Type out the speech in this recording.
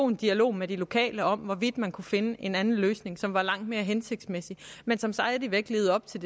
en dialog med de lokale om hvorvidt man kunne finde en anden løsning som er langt mere hensigtsmæssig men som stadig væk lever op til